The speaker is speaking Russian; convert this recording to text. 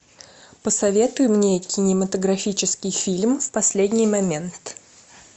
посоветуй мне кинематографический фильм в последний момент